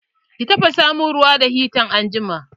Ki tafasa mun ruwa da hita anjima!